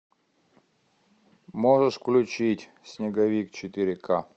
можешь включить снеговик четыре ка